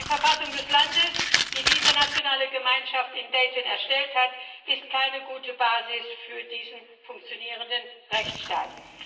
Die Verfassung des Landes, die die internationale Gemeinschaft in Dayton erstellt hat, ist keine gute Basis für diesen funktionierenden Rechtsstaat.